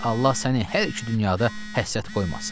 Allah səni hər iki dünyada həsrət qoymasın.